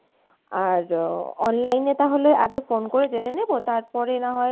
আর online এ তাহলে আগে phone করে জেনে নিবো তারপরে নাহয়